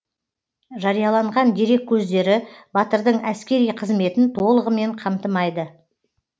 жарияланған дерек көздері батырдың әскери қызметін толығымен қамтымайды